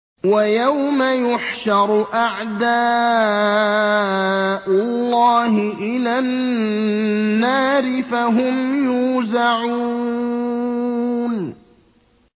وَيَوْمَ يُحْشَرُ أَعْدَاءُ اللَّهِ إِلَى النَّارِ فَهُمْ يُوزَعُونَ